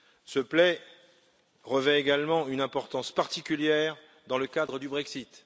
Ce plan revêt également une importance particulière dans le cadre du Brexit.